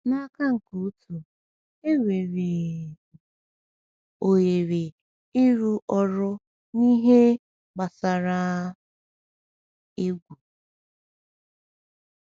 N’aka nke otu, enwere um ohere ịrụ ọrụ n’ihe gbasara egwu.